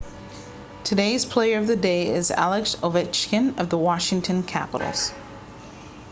today's player of the day is alex ovechkin of the washington capitals